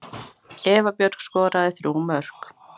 Eva Björk skoraði þrjú mörk.